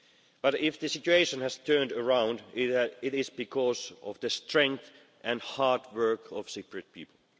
But if the situation has turned around, it is because of the strength and hard work of the Cypriot people.